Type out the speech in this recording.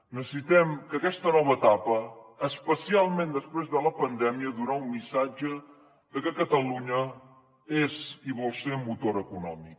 necessitem en aquesta nova etapa especialment després de la pandèmia donar un missatge de que catalunya és i vol ser motor econòmic